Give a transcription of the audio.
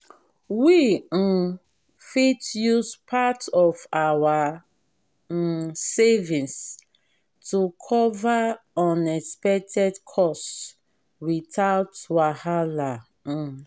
we um fit use part of our um savings to cover unexpected costs without wahala. um